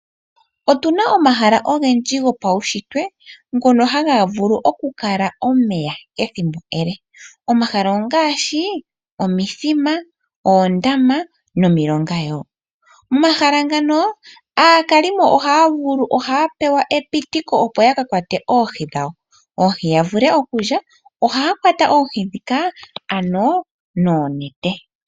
Otuna omahala ogendji gopawushitwe ngono haga vulu okukala omeya ethimbo ele. Omahala ongaashi omithima, oondama nomilonga yoo, omahala ngano aakalimo ohaavulu, ohaa pewa epitikilo opo ya kakwate oohi dhawo , oohi yavule okulya ohaya kwata oohi dhika ano noonete.